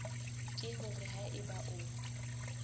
ke hore ha eba o